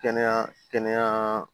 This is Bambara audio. Kɛnɛya kɛnɛya kɛnɛya